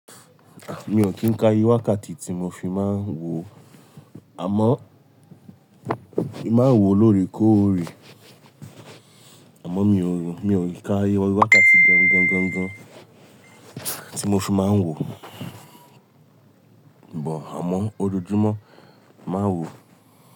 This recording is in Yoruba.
À, mi ò kí ń ka iye wákàtí tí mo fi máa ń wo, àmọ́, mi máa ń wo lóore kóòré, àmọ́ mi ò hún, mi ò kí ń ka iye wákàtí gan gan gan gan tí mo fi máa ń wo, but àmọ́ ojoojúmọ́ máa ń wò ó.